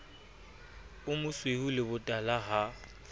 o mosweu le botala ha